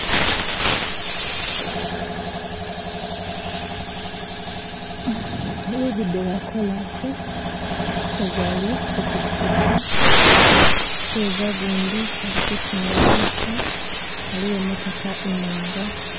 Lugudo lwa kolasi, umuseza ali ku pikipiki, umuseza gundi alikutunda bitu, haliwo imotoka imwanga